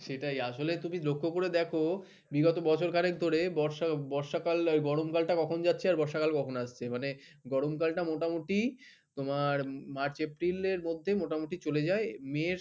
সেটাই আসলে তুমি লক্ষ্য করে দেখো বিগত বছরখানেক ধরে বর্ষা বর্ষাকাল গরমকালটা কখন যাচ্ছে আর বর্ষাকাল কখন আসছে। মানে গরমকালটা মোটামুটি তোমার মার্চ এপ্রিলের মধ্যে মোটামুটি চলে যায়। মের